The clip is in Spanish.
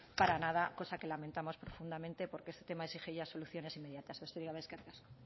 para nada cosa que lamentamos profundamente porque este tema exige ya soluciones inmediatas besterik gabe eskerrik asko